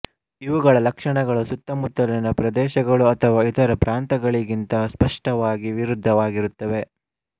ಇವುಗಳ ಲಕ್ಷಣಗಳು ಸುತ್ತಮುತ್ತಲಿನ ಪ್ರದೇಶಗಳು ಅಥವಾ ಇತರ ಪ್ರಾಂತಗಳಿಗಿಂತ ಸ್ಪಷ್ಟವಾಗಿ ವಿರುದ್ಧವಾಗಿರುತ್ತವೆ